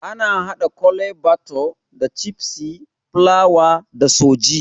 Ana haɗa Kole bathure da cikpeas, fulawa da sooji